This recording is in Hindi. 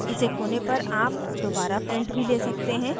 इसे खोने पर आप दोबारा print भी ले सकते हैं